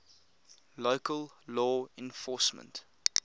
local law enforcement